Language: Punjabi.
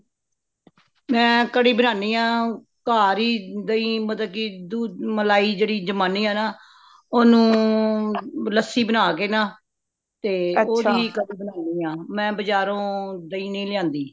ਮੈਂ ਕੜੀ ਬਣਾਣੀ ਹਾ ਘਰ ਹੀ ਦਈ ਮਤਲਬ ਕੀ ਦੁੱਧ ਮਲਾਈ ਜੇੜੀ ਜਮਾਨੀ ਹਾਨਾ ਉਹਨੂੰ ਲੱਸੀ ਬਣਾ ਕੇ ਨਾ, ਤੇ ਉਹਦੀ ਕੜੀ ਬਣਾਣੀ ਹਾ , ਮੈਂ ਬਜਾਰੋਂ ਦਈ ਨਹੀਂ ਲਿਆਂਦੀ